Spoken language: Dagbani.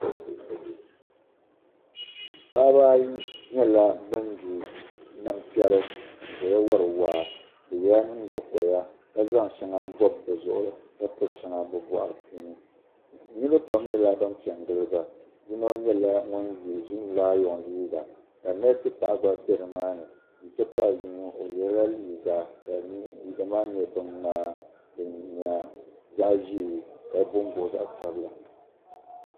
Paɣibi ayi nyɛla ban di nam tɛri n zaya wari waa, bi yela nyiŋgo koya ka zaŋ shaŋa bɔb bɔb bizuɣiri ka pa shaŋa, bi bɔɣiri puuni niribi pam nyɛla ban pɛ n-gili ba, yinɔ nyɛla zom layɔŋ liiga nese paɣa gba be dini maani n ti pahi yinɔ o yela liiga ka liiga maa nyɛ bin mŋaa din nya zaɣi zɛɛ ka bombo zaɣi sabila